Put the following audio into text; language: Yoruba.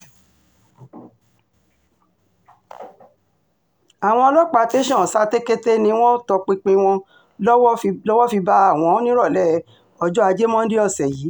àwọn ọlọ́pàá tẹ̀sán satekete ni wọ́n tọpinpin wọn tọwọ́ fi bá wọn nírọ̀lẹ́ ọjọ́ ajé monde ọ̀sẹ̀ yìí